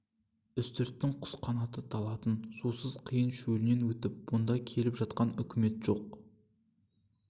үстірттің құс қанаты талатын сусыз қиын шөлінен өтіп бұнда келіп жатқан үкімет жоқ